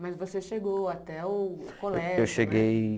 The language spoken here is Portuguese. Mas você chegou até o colégio, né? Eu cheguei